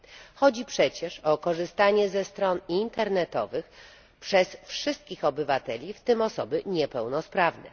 Chodzi przecież o korzystanie ze stron internetowych przez wszystkich obywateli, w tym osoby niepełnosprawne.